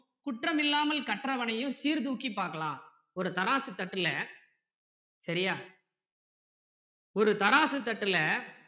குற்றமில்லாமல் கற்றவனையும் சீர்தூக்கி பார்க்கலாம் ஒரு தராசு தட்டுல சரியா ஒரு தராசு தட்டுல